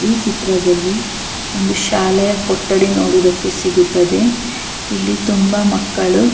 ಈ ಚಿತ್ರದಲ್ಲಿ ಒಂದು ಶಾಲೆಯ ಕೊಟ್ಟಡಿ ನೋಡುವುದಕ್ಕೆ ಸಿಗುತ್ತದೆ ಇಲಿ ತುಂಬಾ ಮಕ್ಕಳು--